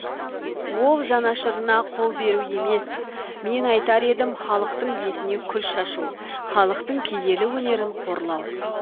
ол жанашырына қол беру емес мен айтар едім халықтың бетіне күл шашу халықтың киелі өнерін қорлау